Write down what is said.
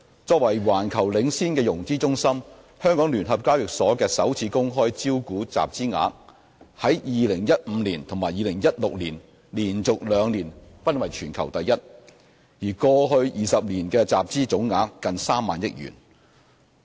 作為環球領先的融資中心，香港聯合交易所的首次公開招股集資額於2015年及2016年連續兩年均為全球第一，過去20年集資總額近3萬億元。